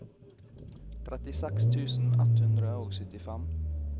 trettiseks tusen ett hundre og syttifem